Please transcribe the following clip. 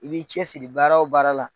I b'i cɛ siri baara o baara la.